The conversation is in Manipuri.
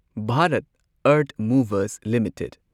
Bharat Earth Movers limited